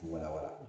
Wala wala